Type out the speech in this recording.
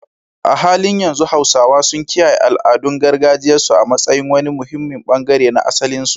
A halin yanzu al’ummar Hausawa suna kiyaye al’adun gargajiyarsu a matsayin wani muhimmin bangare na asalinsu.